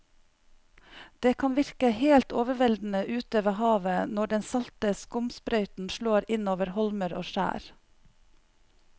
Det kan virke helt overveldende ute ved havet når den salte skumsprøyten slår innover holmer og skjær.